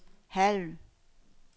halv